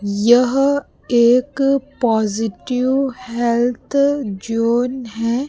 यह एक positive health zone है।